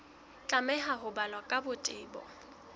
tlameha ho balwa ka botebo